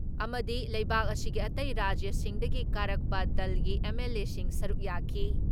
ꯑꯃꯗꯤ ꯂꯩꯕꯥꯛ ꯑꯁꯤꯒꯤ ꯑꯇꯩ ꯔꯥꯖ꯭ꯌꯁꯤꯡꯗꯒꯤ ꯀꯥꯔꯛꯄ ꯗꯜꯒꯤ ꯑꯦꯝ.ꯑꯦꯜ.ꯑꯦꯁꯤꯡ ꯁꯔꯨꯛ ꯌꯥꯈꯤ ꯫